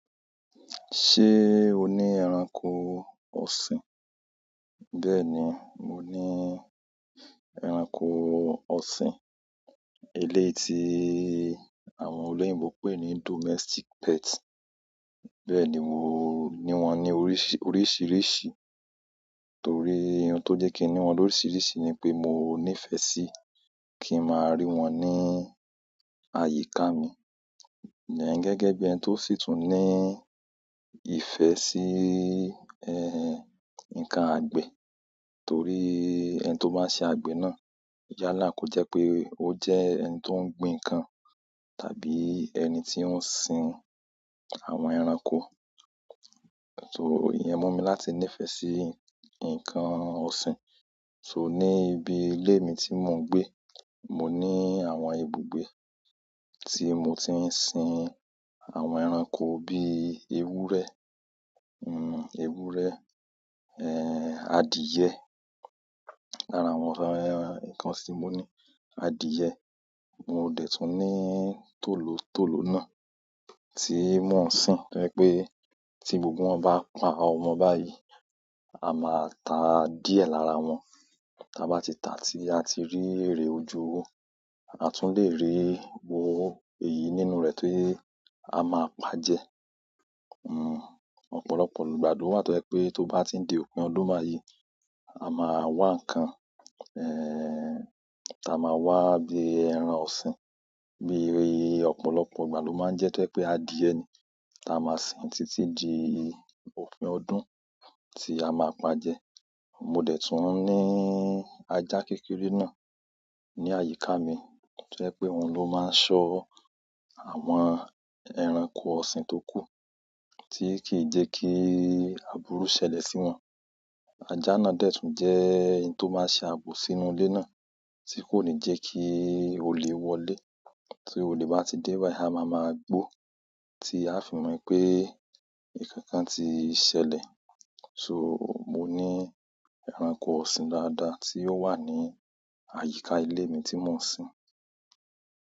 Ṣé o ní ẹranko ọ̀sìn? Bẹ́ẹ̀ ni, mo ni ẹranko ọ̀sìn. Eléyi àwọn olóyìnbo pè ní domestic pet. Bẹ́ẹ̀ni, mo ní wọn ní oríṣiríṣi torí ohun tó jẹ́ kí n ní wọn oríṣiríṣi ni pé mo nífẹ̀ẹ́ sí kí n máa rí wọn ní àyíká mi. Gẹ́gẹ́ bí ẹni tó sì tún ní ìfẹ́ sí nǹkan àgbẹ̀ torí ẹni tó bá n ṣe àgbẹ̀ náà yálà kó jẹ́ pé ó jẹ́ ẹni tó ń gbin ǹkan tàbí ẹni tí ó ń sin àwọn ẹranko. So ìyẹn mú mi láti nífẹ́ sí ǹkan ọ̀ṣin so, ní ibi ilé mi tí mò ń gbé, mo ní àwọn ibùgbé tí mo ti ń sin àwọn ẹranko bí ewúrẹ́, ewúrẹ́, adìyẹ, lára àwọn ǹkan ọ̀sìn tí mo ní. Adìye, mo dẹ̀ tún ní tòlótòló náà tí mò ń sin to jẹ́ pé tí gbogbo wọn bá pa ọmọ báyìí, a máa ta díẹ̀ lára wọn. Ta bá ti ta tí a ti rí èrè ojú owo, a tún le rí owó èyí nínú rẹ̀ tí a máa pàjé. Ọ̀pọ̀lọpọ̀ ìgbà lo wa tó jẹ́ pé tó bá ti n di òpin ọdún bayi, a máa wá ǹkan, ta máa wá bí ẹran ọ̀sìn, bí ọ̀pọ̀lọpọ̀ ìgbà lo máa ń jẹ́ tó jẹ́ pé adìyẹ, ta máa sin títí di òpin ọdún tí a máa pàjẹ. Mo de tun ni aja kékeré na, ni àyíká mi to je pe oun lo ma n so àwọn ẹranko ọ̀sìn tó kú tí kì í jẹ́ kí àbúrú ṣẹlẹ̀ sí wọn. Ajá náà dẹ̀ tún jẹ́ ẹni tó máa ń ṣe ààbò sínú ilé náà tí kò ní jẹ́ kí olè wọlé. Tí olè bá ti dé báyìí, a máa máa gbó tí a fi mọ̀ pé nkankan ti ṣẹlẹ̀. So, mo ní ẹranko ọ̀sìn dáadáa tí ó wà ní àyíká ile mi tí mò ń sin.